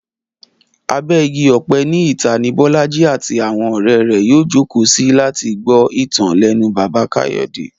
Abẹ́ igi ọ̀pẹ ní ìta ni Bọ́lájí àti àwọn ọ̀rẹ́ rẹ̀ yóò jókòó sí láti gbọ́ ìtàn lẹ́nu Bàbá Káyọ̀dé